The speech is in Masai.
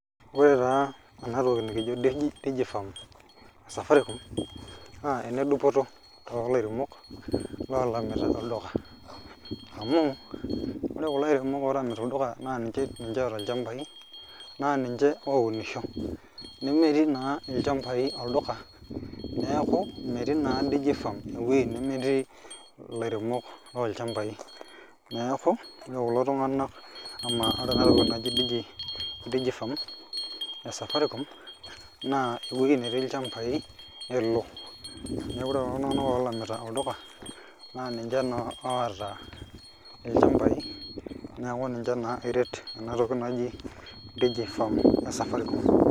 Ore taa ena toki nikijo DigiFarm E Safaricom naa ene dupoto too lairemok loolamita olduka amu ore kulo airemok oolamita olduka naa ninche oota ilchambai naa ninche oounisho nemetii naa ilchambai olduka neeku metii naa DigiFarm ewuei nemetii ilairemok loolchambai neeku ore kulo tung'anak ama ore ena toki naji DigiFarm e Safaricom naa ewueji netii ilchambai elo neeku ore kulo tung'anak oolamita olduka naa ninche naa oota ilchambaai neeku ninche naa eret ena toki naji DigiFarm e Safaricom.